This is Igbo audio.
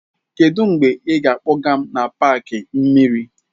Kedu mgbe ị ga-akpọga m n'paaki mmiri?